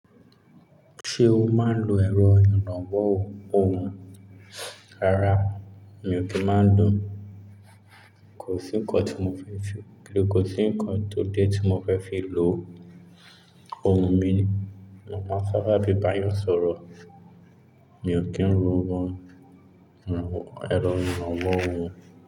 Ṣé o máa ń lo ẹ̀rọ ìrànwo ohunkohùn? Rárá, mi ò kí ń máa ń lò ó ko si n nkan ti mo fe fi kò sí ǹkan tó dé tí mo fẹ́ fi lo ohun mi. Mo máa ń sáábà fi bayan sọ̀rọ̀. Mi ò kí ń lo bọ́ ẹ̀rọ ìrànlọ́wọ́ ohùn.